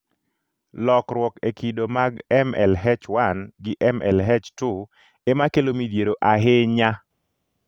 Lokruok e kido mag MLH1 gi MLH2 emakelo midhiero ahinya.